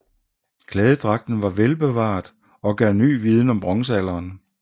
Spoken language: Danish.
Klædedragten var velbevaret og gav ny viden om bronzealderen